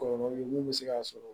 Kɔlɔlɔ mun bɛ se k'a sɔrɔ